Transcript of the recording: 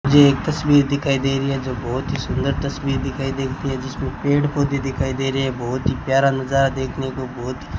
मुझे एक तस्वीर दिखाई दे रही है जो बहुत ही सुंदर तस्वीर दिखाई देती है जिसमें पेड़ पौधे दिखाई दे रहे हैं बहुत ही प्यार नजारा देखने को बहुत --